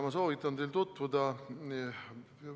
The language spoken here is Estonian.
Ma soovitan teil tutvuda ühe dokumendiga.